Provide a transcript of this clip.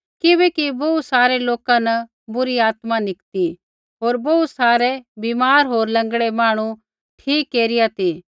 किबैकि बोहू सारै लोका न बुरी आत्मा निकती होर बोहू सारै बीमार होर लँगड़ै मांहणु ठीक केरिआ ती